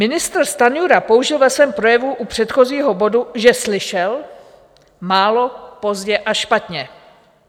Ministr Stanjura použil ve svém projevu u předchozího bodu, že slyšel - málo, pozdě a špatně.